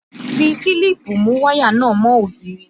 Fi kílípù mú wáyà náà mọ́ òògiri!